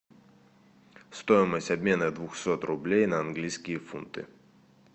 стоимость обмена двухсот рублей на английские фунты